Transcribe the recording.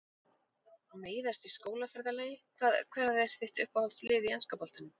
Meiðast í skólaferðalagi Hvað er þitt uppáhaldslið í enska boltanum?